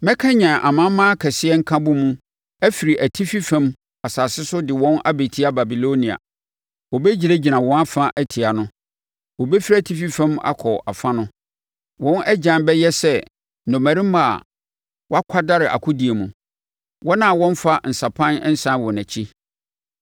Mɛkanyane amanaman akɛseɛ nkabom afiri atifi fam asase so de wɔn abɛtia Babilonia. Wɔbɛgyinagyina wɔn afa atia no, wɔbɛfiri atifi fam ako afa no. Wɔn agyan bɛyɛ sɛ nnɔmmarima a wɔakwadare akodie mu, wɔn a wɔmmfa nsapan nsane wɔn akyi.